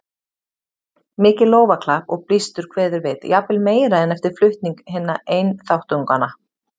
Mikið lófaklapp og blístur kveður við, jafnvel meira en eftir flutning hinna einþáttunganna.